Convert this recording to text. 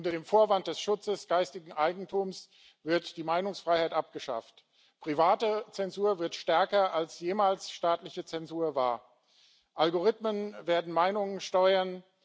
Unter dem Vorwand des Schutzes geistigen Eigentums wird die Meinungsfreiheit abgeschafft. Private Zensur wird stärker, als staatliche Zensur jemals war, Algorithmen werden Meinungen steuern.